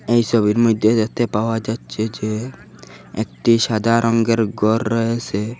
এই ছবির মইধ্যে দেখতে পাওয়া যাচ্ছে যে একটি সাদা রঙ্গের ঘর রয়েসে।